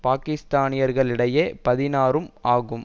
பாக்கிஸ்தானியர்களிடையே பதினாறும் ஆகும்